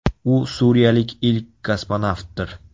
U suriyalik ilk kosmonavtdir.